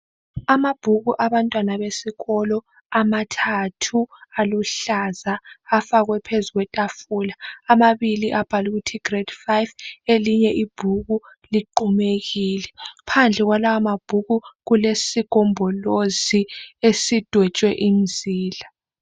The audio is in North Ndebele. Amabhuku abantwana besikolo amathathu aluhlaza. Afakwe phezu kwetafula. Amabili abhalwe ukuthi grade five. Elinye ibhuku liqhumekile. Phandle kwalawa mabhuku kulesigombolozi esidwetshwe imizila.